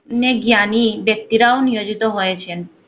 অনেক জ্ঞানী ব্যক্তিরাও নিয়োজিত হয়েছেন।